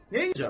Nəyirəm?